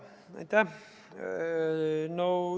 Aitäh!